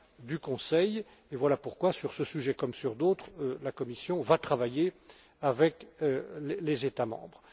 travail du Conseil, et voilà pourquoi, sur ce sujet comme sur d'autres, la Commission va travailler avec les États membres.